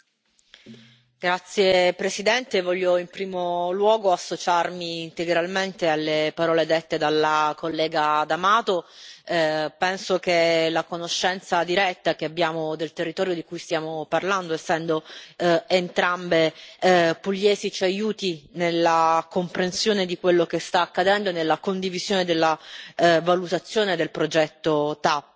Signor Presidente, onorevoli colleghi, voglio in primo luogo associarmi integralmente alle parole dette dalla collega D'Amato. Penso che la conoscenza diretta che abbiamo del territorio di cui stiamo parlando, essendo entrambe pugliesi, ci aiuti nella comprensione di quello che sta accadendo e nella condivisione della valutazione del progetto TAP.